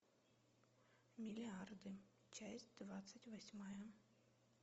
миллиарды часть двадцать восьмая